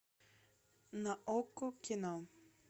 на окко кино